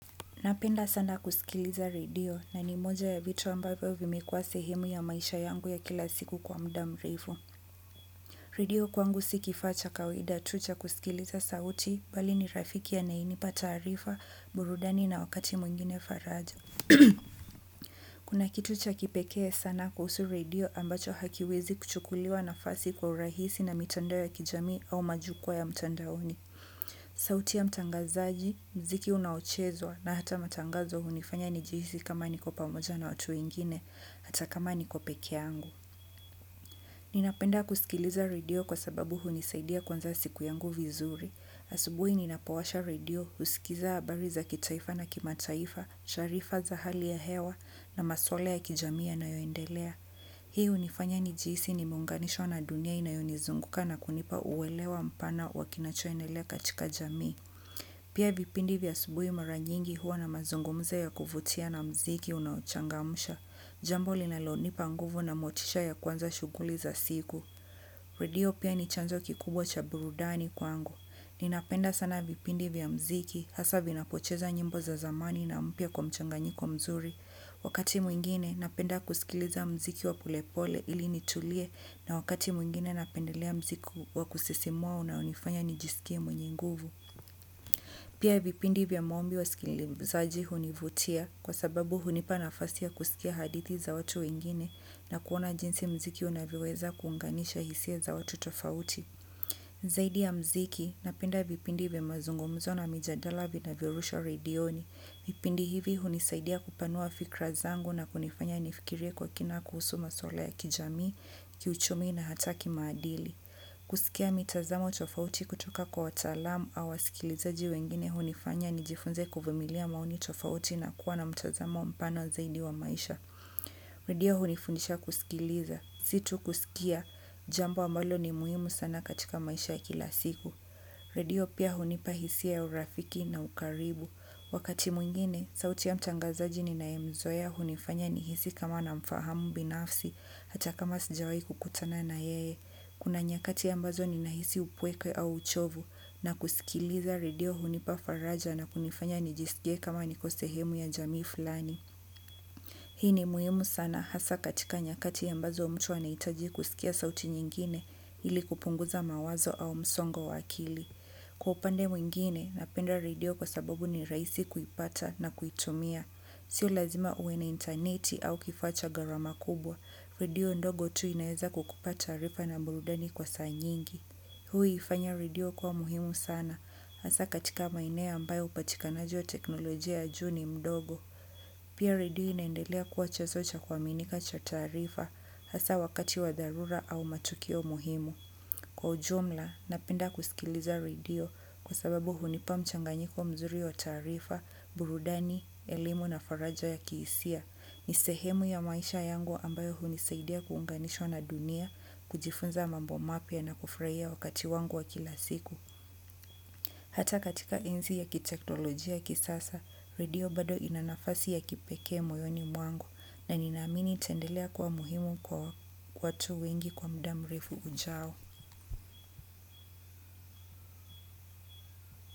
Napenda sana kusikiliza radio na ni moja ya vitu ambavyo vimekuwa sehemu ya maisha yangu ya kila siku kwa muda mrefu. Radio kwangu si kifaa cha kawaida tu cha kusikiliza sauti bali ni rafiki anayenipa taarifa, burudani na wakati mwingine faraja. Kuna kitu cha kipekee sana kuhusu radio ambacho hakiwezi kuchukuliwa nafasi kwa urahisi na mitandao ya kijami au majukwa ya mtandaoni. Sauti ya mtangazaji, mziki unaochezwa na hata matangazo hunifanya nijihisi kama niko pamoja na watu wengine, hata kama niko pekee yangu. Ninapenda kusikiliza radio kwa sababu hunisaidia kuanza siku yangu vizuri. Asubuhi ninapowasha radio, husikiza habari za kitaifa na kimataifa, sharifa za hali ya hewa na maswala ya kijami yanayoendelea. Hii hunifanya nijihisi nimeunganishwa na dunia inayonizunguka na kunipa uwelewa mpana wa kinachondelea katika jamii. Pia vipindi vya asubuhi mara nyingi huwa na mazungumzo ya kuvutia na mziki unachangamsha. Jambo linalonipa nguvu na motisha ya kuanza shughuli za siku. Radio pia ni chanzo kikubwa cha burudani kwangu. Ninapenda sana vipindi vya mziki hasa vinapocheza nyimbo za zamani na mpya kwa mchanganyiko mzuri. Wakati mwingine napenda kusikiliza mziki wa pollepole ili nitulie na wakati mwingine napendelea mziki wa kusisimua unaonifanya nijisikie mwenye nguvu. Pia vipindi vya maombi wasikilizaji hunivutia kwa sababu hunipa nafasi ya kusikia hadithi za watu wengine na kuona jinsi mziki unavyoweza kuunganisha hisia za watu tofauti. Zaidi ya mziki, napenda vipindi vya mazungumzo na mijadala vinavyorushwa redioni. Vipindi hivi hunisaidia kupanua fikra zangu na kunifanya nifikirie kwa kina kuhusu maswali ya kijamii, kiuchumi na hata kimaadili. Kusikia mitazamo tofauti kutoka kwa wataalamu au wasikilizaji wengine hunifanya nijifunze kuvumilia maoni tofauti na kuwa na mtazamo mpana zaidi wa maisha. Redio hunifundisha kusikiliza. Si tu kusikia. Jambo ambalo ni muhimu sana katika maisha ya kila siku. Redio pia hunipa hisia ya urafiki na ukaribu. Wakati mwingine, sauti ya mtangazaji ninayemzoea hunifanya nihisi kama namfahamu binafsi hata kama sijawahi kukutana na yeye. Kuna nyakati ambazo ninahisi upweke au uchovu na kusikiliza. Redio hunipa faraja na kunifanya nijisikie kama niko sehemu ya jamii fulani. Hii ni muhimu sana hasa katika nyakati ambazo mtu anahitaji kusikia sauti nyingine ili kupunguza mawazo au msongo wa akili. Kwa upande mwingine napenda redio kwa sababu ni rahisi kuipata na kuitumia. Sio lazima uwe na intaneti au kifaa cha gharama kubwa, redio ndogo tu inaweza kukupa taarifa na burudani kwa saa nyingi. Huifanya radio kuwa muhimu sana hasa katika maeneo ambayo upatikanaji wa teknolojia ya juu ni mdogo. Pia redio inaendelea kuwa chanzo cha kuaminika cha taarifa hasa wakati wa dharura au matukio muhimu. Kwa ujumla, napenda kusikiliza redio kwa sababu hunipa mchanganyiko mzuri wa taarifa, burudani, elimu na faraja ya kihisia. Ni sehemu ya maisha yangu ambayo hunisaidia kuunganishwa na dunia, kujifunza mambo mapya na kufraia wakati wangu wa kila siku. Hata katika enzi ya kitektolojia ya kisasa, redio bado ina nafasi ya kipekee moyoni mwangu na ninaamini itaendelea kuwa muhimu kwa watu wengi kwa muda mrefu ujao.